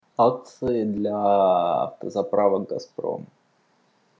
акции для автозаправок газпром